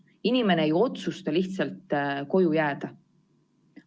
Inimene ei otsusta lihtsalt koju jääda.